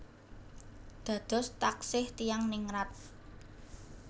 Dados taksih tiyang ningrat